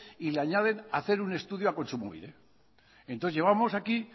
y le añaden hacer un estudio a kontsumobide entonces llevamos aquí